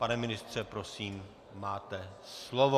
Pane ministře, prosím, máte slovo.